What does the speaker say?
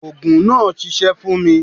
Òògùn náà ṣiṣẹ́ fún mi.